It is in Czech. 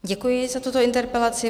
Děkuji za tuto interpelaci.